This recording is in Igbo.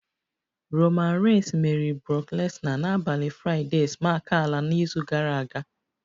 Roman reigns meriri brock lesnar n'abalị Fraịdee smack ala n'izu gara aga